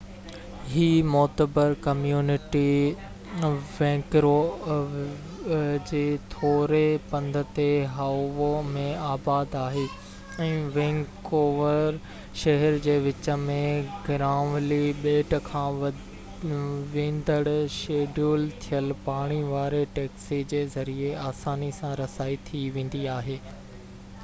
هي معتبر community Vancouver جي ٿوري پنڌ تي هائوو ۾ آباد آهي ۽ وينڪوور شهر جي وچ ۾ گرانولي ٻيٽ کان ويندڙ شيڊول ٿيل پاڻي واري ٽيڪسي جي ذريعي آساني سان رسائي ٿي ويندي آهي